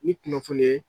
Ni kunnafoni ye